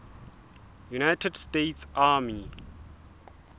united states army